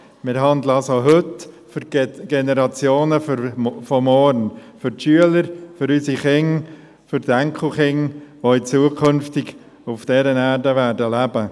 Heute handeln wir also für die Generationen von morgen – für die Schüler, für unsere Kinder, die Enkelkinder, die zukünftig auf dieser Erde leben werden.